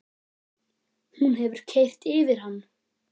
Hún hefur keyrt yfir hann!